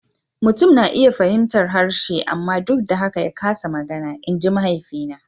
Mutum na iya fahimtar harshe amma duk da haka ya kasa magana, in ji mahaifina.